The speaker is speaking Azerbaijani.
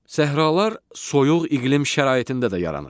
Səhralar soyuq iqlim şəraitində də yaranır.